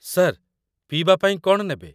Sir, ପିଇବା ପାଇଁ କ'ଣ ନେବେ ?